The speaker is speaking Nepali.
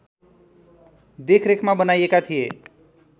देखरेखमा बनाइएका थिए